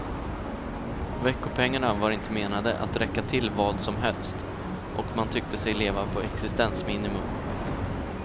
Veckopengarna var inte menade att räcka till vad som helst, och man tyckte sig leva på existensminimum.